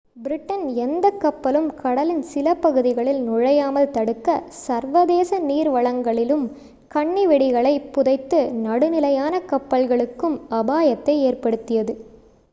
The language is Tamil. பிரிட்டன் எந்தக் கப்பலும் கடலின் சில பகுதிகளில் நுழையாமல் தடுக்க சர்வதேச நீர் வளங்களிலும் கண்ணி வெடிகளைப் புதைத்து நடுநிலையான கப்பல்களுக்கும் அபாயத்தை ஏற்படுத்தியது